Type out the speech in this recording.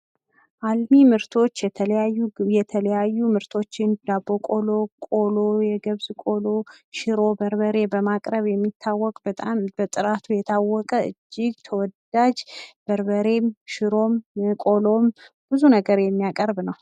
አልሚ ምርቶች የተለያዩ ምርቶችን ዳቦ ቆሎ፣ ቆሎ ፣ የገብስ ቆሎ፣ ሽሮ፣ በርበሬ በማቅረብ የሚያወቅ በጣም በጥራቱ የሚታወቅ የታወቀ እጂግ ተወዳጅ በርበሬም፣ ቆሎም ፣ ሽሮም፣ ብዙ ነገር የሚያቀርብ ነው።